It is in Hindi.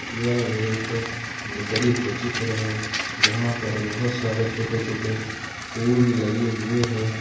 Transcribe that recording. यह एक नर्सरी का चित्र है जहां पर बहुत सारे छोटे छोटे फूल लगे हुए है।